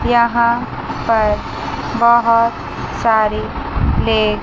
यहाँ पर बहुत सारे फ्लैग --